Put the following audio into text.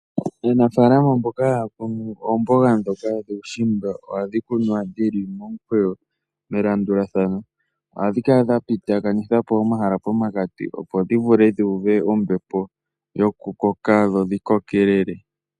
Aanafalama mboka haya kunu oomboga dhoka dhuushimba ohadhi kunwa dhili momukweyo melandulathano ohadhi kala dha pititha po omahala pomakati opo dhi vule dhi mone ompito yoku koka dho dhi kokelele.